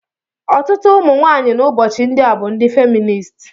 Ọtụtụ ụmụ nwanyị n'ụbọchị ndị a bụ ndị feminist.